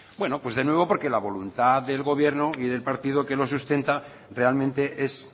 bueno pues de nuevo porque la voluntad del gobierno y del partido que lo sustenta realmente es